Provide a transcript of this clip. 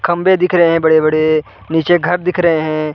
खंबे दिख रहे हैं बड़े-बड़े। नीचे घर दिख रहे हैं।